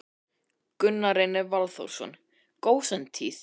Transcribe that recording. Gunnar Reynir Valþórsson: Gósentíð?